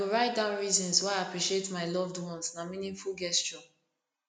i go write down reasons why i appreciate my loved ones na meaningful gesture